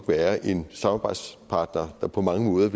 være en samarbejdspartner der på mange måder